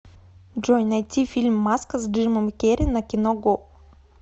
джой найти фильм маска с джимом керри на кино го